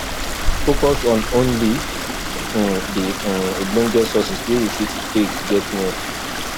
focus on only um di um ogbonge sources wey we fit take get news